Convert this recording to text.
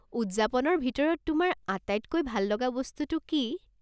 উদযাপনৰ ভিতৰত তোমাৰ আটাইতকৈ ভাল লগা বস্তুটো কি?